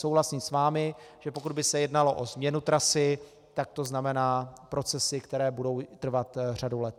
Souhlasím s vámi, že pokud by se jednalo o změnu trasy, tak to znamená procesy, které budou trvat řadu let.